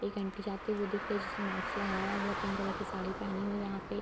एक आंटी जाती हुई दिख रही है जिसने मास्क लगाया हुआ है पिंक कलर की साड़ी पहनी हुई है यहाँ पे।